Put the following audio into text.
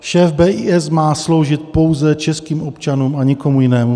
Šéf BIS má sloužit pouze českým občanům a nikomu jinému.